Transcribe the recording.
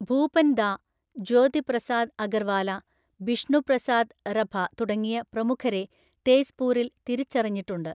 ഭൂപൻ ദാ, ജ്യോതി പ്രസാദ് അഗർവാല, ബിഷ്ണു പ്രസാദ് റഭ തുടങ്ങിയ പ്രമുഖരെ തേസ്പൂരിൽ തിരിച്ചറിഞ്ഞിട്ടുണ്ട്.